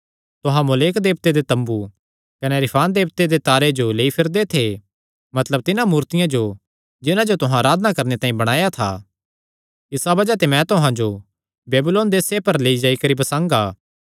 तुहां मोलेक देवते दे तम्बू कने रिफान देवते दे तारे जो लेई करी फिरदे थे मतलब तिन्हां मूर्तियां जो जिन्हां जो तुहां अराधना करणे तांई बणाया था इसा बज़ाह ते मैं तुहां जो बेबीलोन देसे दे परे लेई जाई करी बसांगा